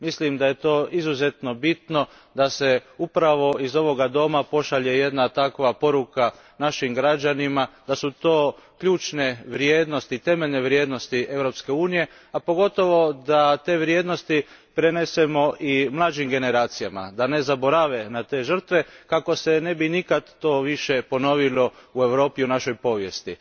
Mislim da je izuzetno bitno da se upravo iż ovoga doma pošalje takva poruka našim građanima da su to ključne vrijednosti, temeljne vrijednosti Europske unije, a pogotovo da te vrijednosti prenesemo i mlađim generacijama da ne zaborave na te žrtve kako se to ne bi nikada više ponovilo u Europi, u našoj povijesti.